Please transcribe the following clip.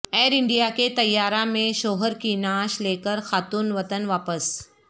year India کے طیارہ میں شوہر کی نعش لیکر خاتون وطن واپس